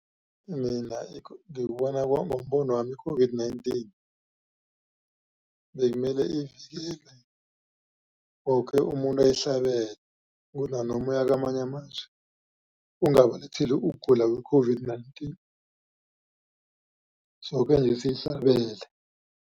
Mina ngikubona kwami ngombonwami i-COVID-19 bekumele woke umuntu ayihlabele. Kunanoma uya kwamanye amazwe ungabalethile ukugula kwe-COVID-19 soke nje siyihlabele.